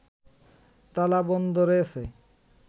তালা বন্ধ রয়েছে